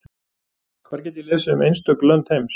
Hvar get ég lesið um einstök lönd heims?